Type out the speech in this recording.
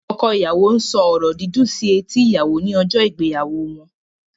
Ọkọ ìyàwó ń sọ ọ̀rọ̀ dídùn sí etí ìyàwò ní ọjọ́ ìgbéyàwó wọn.